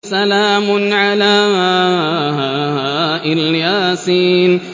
سَلَامٌ عَلَىٰ إِلْ يَاسِينَ